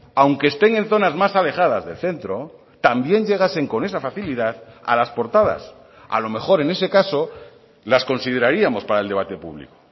aunque estén en zonas más alejadas del centro también llegasen con esa facilidad a las portadas a lo mejor en ese caso las consideraríamos para el debate público